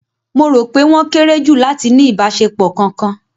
Mo rò pé wọ́n kéré jù láti ní ìbáṣepọ̀ kankan